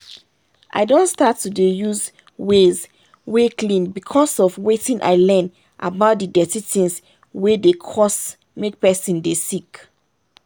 i don start to dey use ways wey clean because of wetin i learn about the dirty things wey dey cause make person dey sick.